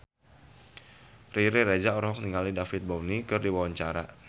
Riri Reza olohok ningali David Bowie keur diwawancara